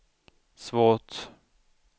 svårt